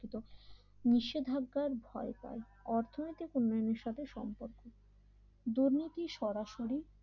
নিষেধাজ্ঞার ভয় পায় অর্থনৈতিক উন্নয়নের সাথে সম্পর্ক দুর্নীতি সরাসরি